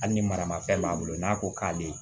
Hali ni maramafɛn b'a bolo n'a ko k'a be